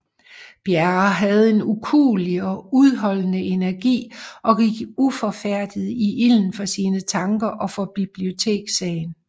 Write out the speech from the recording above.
Bjerre havde en ukuelig og udholdende energi og gik uforfærdet i ilden for sine tanker og for bibliotekssagen